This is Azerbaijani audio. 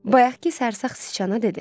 Bayaqkı sərsax siçana dedi: